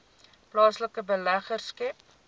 plaaslike beleggers skep